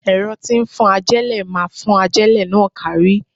Ẹ̀rọ tí ń fọ́n ajélẹ̀ máa fọ́n ajélẹ̀ náà kárí.